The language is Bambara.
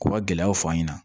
K'u ka gɛlɛyaw fɔ an ɲɛna